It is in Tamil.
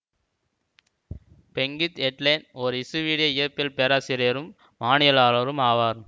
பெங்கித் எட்லேன் ஓர் இசுவீடிய இயற்பியல் பேராசிரியரும் வானியலாளரும் ஆவார்